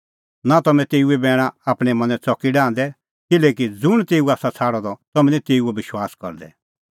नां तम्हैं तेऊए बैणा आपणैं मनैं च़की डाहंदै किल्हैकि ज़ुंण तेऊ आसा छ़ाडअ द तम्हैं निं तेऊओ विश्वास करदै